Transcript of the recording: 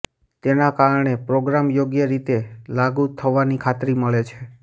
તેના કારણે પ્રોગ્રામ યોગ્ય રીતે લાગુ થવાની ખાતરી મળે છે